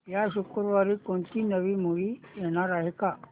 या शुक्रवारी कोणती नवी मूवी येणार आहे का